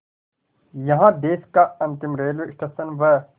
यहाँ देश का अंतिम रेलवे स्टेशन व